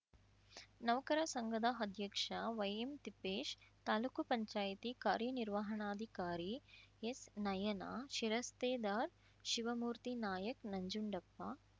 ನೌಕರ ಸಂಘದ ಅಧ್ಯಕ್ಷ ವೈಎಂ ತಿಪ್ಪೇಶ್‌ ತಾಲೂಕುಪಂಚಾಯ್ತಿ ಕಾರ್ಯನಿರ್ವಹಣಾಧಿಕಾರಿ ಎಸ್‌ನಯನ ಶಿರಸ್ತೇದಾರ್ ಶಿವಮೂರ್ತಿ ನಾಯಕ್ ನಂಜುಂಡಪ್ಪ